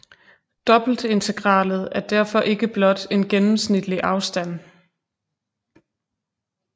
Dobbeltintegralet er derfor ikke blot en gennemsnitlig afstand